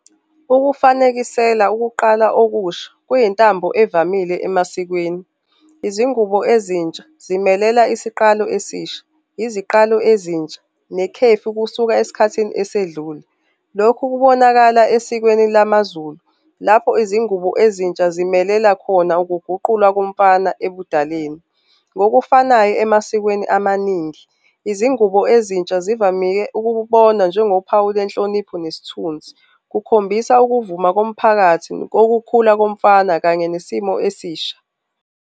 Ukufanekisela ukuqala okusha kuyintambo evamile emasikweni. Izingubo ezintsha zimelela isiqalo esisha. Iziqalo ezintsha nekhefu kusuka esikhathini esedlule. Lokhu kubonakala esikweni lamaZulu, lapho izingubo ezintsha zimelela khona ukuguqulwa komfana ebudaleni. Ngokufanayo emasikweni amaningi, izingubo ezintsha zivamike ukubonwa njengophawu lwenhlonipho nesithunzi. Kukhombisa ukuvuma komphakathi kokukhula komfana kanye nesimo esisha.